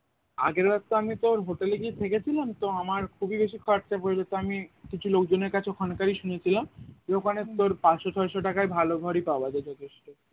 আগেরবার তো আমি তোর hotel এ গিয়ে থেকে ছিলাম তো আমার খুবই বেশি খরচা পরে গেছে তো আমি কিছু লোকজনের কাছে ওখানকারি শুনেছিলাম যে ওখানে তোর পাঁচশ ছয়শ টাকায় ভালো ঘরই পাওয়া যায় যথেষ্ট